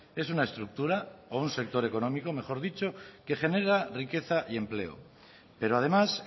es una estructura o un sector económico mejor dicho que genera riqueza y empleo pero además